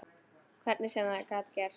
Hvernig sem það gat gerst.